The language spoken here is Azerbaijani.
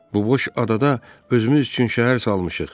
Bu boş adada özümüz üçün şəhər salmışıq.